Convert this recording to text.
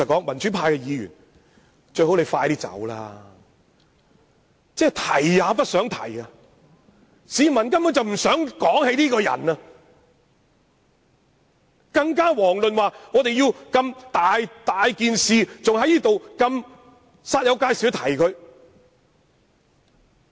民主派議員只希望梁振英快些離職，市民根本提也不想提他，更遑論要我們如此煞有介事地提及他。